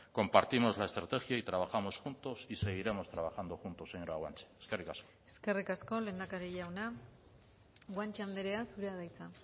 compartimos la estrategia y trabajamos juntos y seguiremos trabajando juntos señora guanche eskerrik asko eskerrik asko lehendakari jauna guanche andrea zurea da hitza